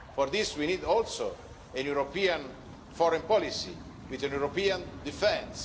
For this we need also a European foreign policy with a European defence.